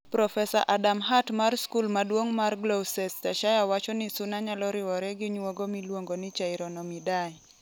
Profesa Adam Hart mar skul maduong' mar Gloucestershire wacho ni suna nyalo ruwore gi nyuogo miluongo ni chironomidae.